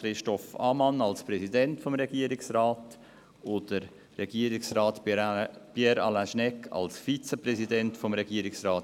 Christoph Ammann als Präsidenten des Regierungsrats und Regierungsrat Pierre Alain Schnegg als Vizepräsidenten des Regierungsrats.